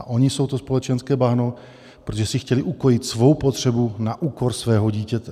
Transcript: A oni jsou to společenské bahno, protože si chtěli ukojit svou potřebu na úkor svého dítěte.